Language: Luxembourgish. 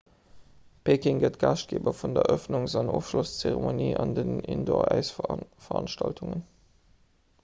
peking gëtt gaaschtgeeber vun der erëffnungs an ofschlosszeremonie an den indooräisveranstaltungen